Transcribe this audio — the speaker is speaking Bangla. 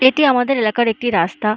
এটি আমাদের এলাকার একটি রাস্তা ।